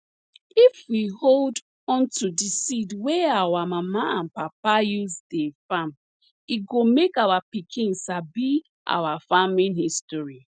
if we hold onto di seed wey our old mama and papa use dey farm e go make our pikin sabi our farming history